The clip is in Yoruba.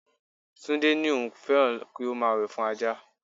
Tunde ní òun féràn kí òun máa wẹ̀ fún Ajá.